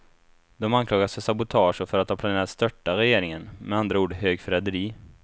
De anklagas för sabotage och för att ha planerat störta regeringen, med andra ord högförräderi.